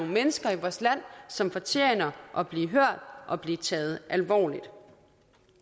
mennesker i vores land som fortjener at blive hørt og blive taget alvorligt at